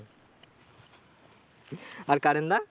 আর কাড়েনদা?